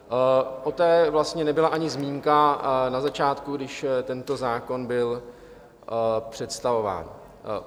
O té vlastně nebyla ani zmínka na začátku, když tento zákon byl představován.